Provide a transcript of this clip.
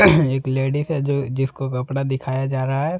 एक लेडीज हैं ज जिसको कपड़ा दिखाया जा रहा है।